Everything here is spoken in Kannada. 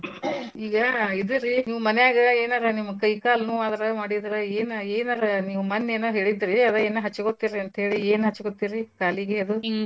ಈಗ ಇದು ರೀ ನೀವ್ ಮನ್ಯಾಗ್ ಏನಾರ ನಿಮ್ ಕೈ ಕಾಲ್ನೋವ್ವಾದ್ರ ಮಾಡಿದ್ರ ಏನ್ ಏನರ ನೀವ್ ಮನ್ನೇ ಏನ್ ಹೇಳಿದ್ರಿ ಅದ್ ಏನ್ ಹಚ್ಗೋತೀರ್ ಅನಂತೇಳಿ ಏನ್ ಹಚ್ಗೋತೀರಿ ಕಾಲಿಗೆ ಅದು? .